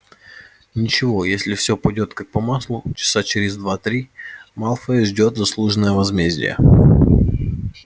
ничего если все пойдёт как по маслу часа через два-три малфоя ждёт заслуженное возмездие